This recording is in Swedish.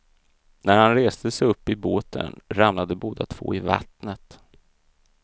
När han reste sig upp i båten ramlade båda två i vattnet.